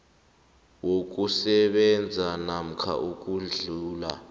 wokusebenza namkha ukudlula